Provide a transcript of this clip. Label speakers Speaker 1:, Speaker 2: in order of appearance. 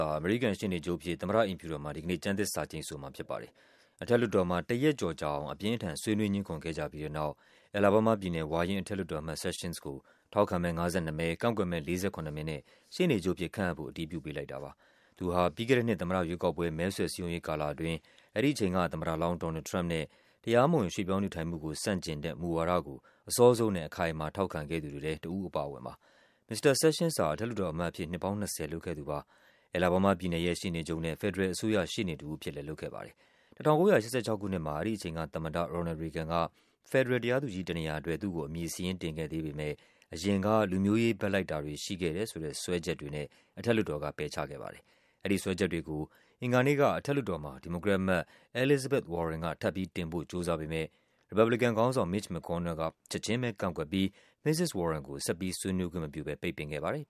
Speaker 1: ာ အမေရိကန်ရှေ့နေချုပ်အဖြစ် သမ္မတ အိမ်ဖြူတော်မှာ ဒီကနေ့ ကျမ်းသစ္စာ ကျိန်ဆိုမှာဖြစ်ပါတယ်။ အထက်လွှတ်တော်မှာ တရက်ကျော်ကြာအောင် အပြင်းအထန် ဆွေးနွေးငြင်းခုန်ခဲ့ကြပြီးတဲ့နောက် အယ်လာဘားမားပြည်နယ် ဝါရင့်အထက်လွှတ်တော်အမတ် Sessions ကို ထောက်ခံမဲ ၅၂ မဲ၊ ကန့်ကွက်မဲ ၄၇ မဲနဲ့ ရှေ့နေချုပ်အဖြစ် ခန့်အပ်ဖို့ အတည်ပြု ပေးလိုက်တာပါ။ သူဟာ ပြီးခဲ့တဲ့နှစ် သမ္မတရွေးကောက်ပွဲ မဲဆွယ်စည်းရုံးရေးကာလအတွင်း အဲဒီအချိန် သမ္မတလောင်း Donald Trump နဲ့ တရားမဝင် ရွှေ့ပြောင်းနေထိုင်မှုကို ဆန့်ကျင်တဲ့ မူဝါဒကို အစောဆုံးနဲ့ အခိုင်အမာ ထောက်ခံခဲ့သူတွေထဲ တဦးအပါအဝင်ပါ။ မစ္စတာ Sessions ဟာ အထက်လွှတ်တော်အမတ်အဖြစ် နှစ်ပေါင်း ၂၀ လုပ်ခဲ့သူပါ။ အယ်လ်ဘားမားပြည်နယ်ရဲ့ ရှေ့နေချုပ်နဲ့ ဖယ်ဒရယ်အစိုးရ ရှေ့နေတဦးအဖြစ်လဲ လုပ်ခဲ့ပါတယ်။ ၁၉၈၆ ခုနှစ်မှာ အဲဒီအချိန်သမ္မတ Ronald Reagan က ဖက်ဒရယ် တရားသူကြီးတနေရာအတွက် သူ့ကို အမည်စာရင်းတင်ခဲ့ပေမဲ့ အရင်က လူမျိုးရေးဘက်လိုက်တာတွေ ရှိခဲ့တယ်ဆိုတဲ့ စွဲချက် တွေနဲ့ အထက်လွှတ်တော်က ပယ်ချခဲ့ပါတယ်။ အဲဒီစွဲချက်တွေကို အင်္ဂါနေ့က အထက်လွှတ်တော်မှာ ဒီမိုကရက်အမတ် Elizabeth Warren က ထပ်ပြီးတင်ဖို့ ကြိုးစားပေမဲ့ ရီပတ်ဘလီကန်ခေါင်းဆောင် Mitch McConnell က ချက်ခြင်းပဲကန့်ကွက်ပြီး မစ္စစ် Warren ကို ဆက်ပြီးဆွေးနွေးခွင့်မပြုဘဲ ပိတ်ပင်ခဲ့ပါတယ်။